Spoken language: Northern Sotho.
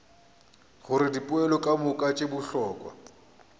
gore dipoelo kamoka tše bohlokwa